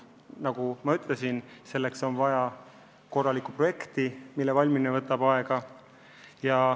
Nagu ma ütlesin, selleks on vaja ka korralikku projekti, mille valmimine võtab aega.